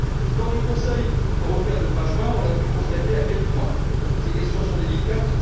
Lors du Conseil européen de fin juin, nous avons pu constater à quel point ces questions sont délicates.